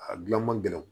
A gilan man gɛlɛ